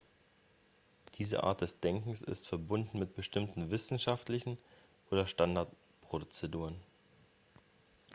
diese art des denkens ist verbunden mit bestimmten wissenschaftlichen oder standardprozeduren